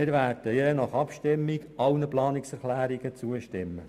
Wir werden je nach Abstimmung allen Planungserklärungen zustimmen.